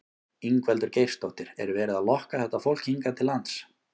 Ingveldur Geirsdóttir: Er verið að lokka þetta fólk hingað til lands?